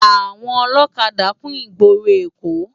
Awòn òlòkádá kún igbóró Ekó